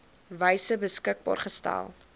wyse beskikbaar gestel